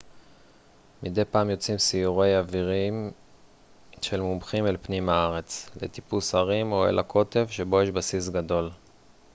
מדי פעם יוצאים סיורי אוויריים של מומחים אל פנים הארץ לטיפוס הרים או אל הקוטב שבו יש בסיס גדול